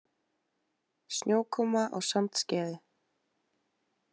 Snjókoma á Sandskeiði